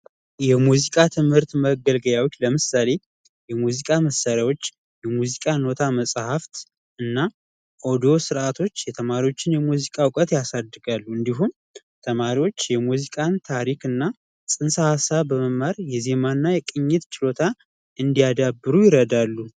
የሙዚቃ ትምህርት መገልገያዎች ለምሳሌ የሙዚቃ መሳሪያዎች ፣የሙዚቃ ኖታ መፅሐፍ እና ኦዲዮ ስርአቶች የተማሪዎችን የሙዚቃ እውቀት ያሳድራሉ። እንዲሁም ተማሪዎች የሙዚቃን ታሪክ እና ፅንሰ ሀሳብ በመማር የዜማና የቅኝት ፅንሰ ሀሳብ እንዲያዳብሩ ይረዳሉ።